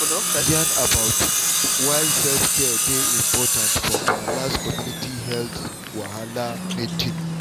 we yarn about yarn about why self-care dey important for our last community health wahala meeting.